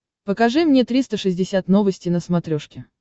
покажи мне триста шестьдесят новости на смотрешке